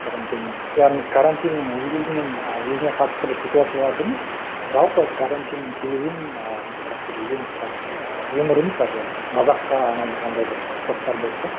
яғни карантиннің ол кезінің ы өзіне қатысты бір ситуацияларды емес жалпы карантиннің келуін ы бір юмор емес даже бір мазаққа айналдырғандай бір посттар болды да